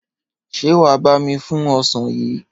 Ṣé wà á bá mi fún ọsàn yìí?